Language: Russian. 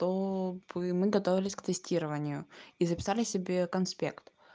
то мы готовились к тестированию и записали себе конспект